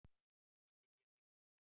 Nú skil ég þig ekki.